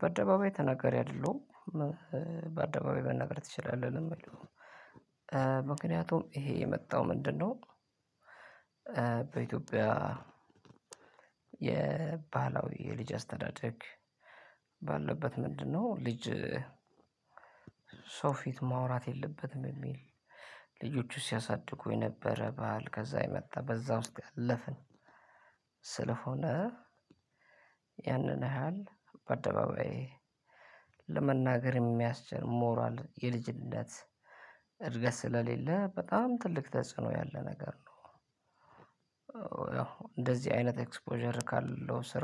በአደባባይ ተናገሪ አይደለሁም በአደባባይ መናገር ትችላለህ በምለው ምክንያቱም ይሄ የመጣው ምንድነው? በኢትዮጵያ የባህላዊ የልጅ አስተዳደግ። ባለበት ምንድነው? ልጅ ሰው ፊት ማውራት የለበትም። የሚል ልጆቹ ሲያሳድጉ የነበረ በዓል ከዛ የመጣ በዛ ውስጥ ያለፈ። ስለሆነ ያንን ያህል በደባባዬ ለመናገር የሚያስችል ሞራል የልጅነት ልጆቹ ሲያሳድጉ የነበረ። በዓል ከዛ የመጣ በዛ ውስጥ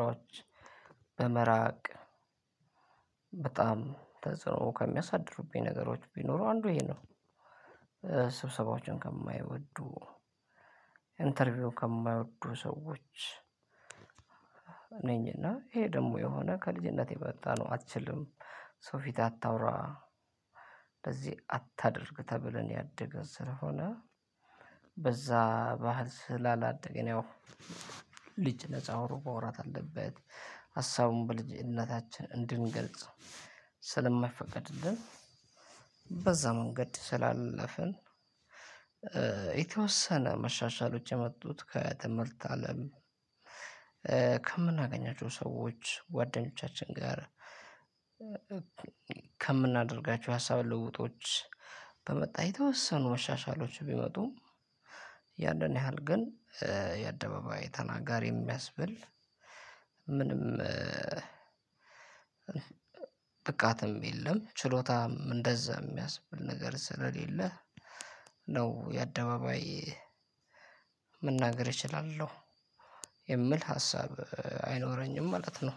ያለፈ በጣም ተጽዕኖ ከሚያሳድሩብኝ ነገሮች ብኖሩ አንዱ ነው። ስብሰባዎችን ከማይወዱ እንተርብዬ ከማይወዱ ሰዎች ነኝ። እና ይሄ ደግሞ የሆነ ከልጅነቴ የመጣ ነው። አትችልም ሰው ፊት አታውራ። ለዚህ አታድርግ ተብለን ያደገን ስለሆነ። በዛ ባህል ስላላደገን ያው ልጅ ነፃ ሆኖ ማወራት አለበት። ሀሳቡን በልጅነታችን እንድንገልጽ ስለማይፈቀድልን በዛ መንገድ ስላለፍን። የተወሰነ መሻሻሎች የመጡት ከትምህርት አለም። ከምናገኛቸው ሰዎች ጓደኞቻችን ጋር ከምናደርጋቸው ሀሳብ ልውውጦች በመጣ የተወሰኑ መሻሻሎች ቢመጡ። ያንን ያህል ግን የአደባባይ ተናጋሪ የሚያስብል ምንም ብቃትም የለም ችሎታም እንደዛ የሚያስብል ነገር ስለሌለ። ነው የአደባባይ መናገር እችላለሁ የምል ሀሳብ አይኖረኝም ማለት ነው።